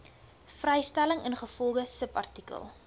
vrystelling ingevolge subartikel